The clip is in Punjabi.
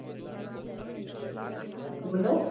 ਬੋਲੋ